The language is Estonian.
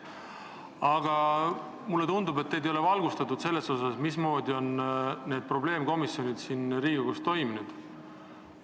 Aga mulle tundub, et teid ei ole valgustatud, mismoodi on need probleemkomisjonid siin Riigikogus toiminud.